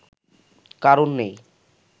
কারণ নেই